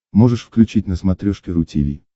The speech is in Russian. можешь включить на смотрешке ру ти ви